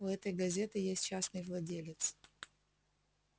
у этой газеты есть частный владелец